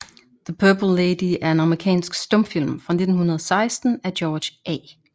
The Purple Lady er en amerikansk stumfilm fra 1916 af George A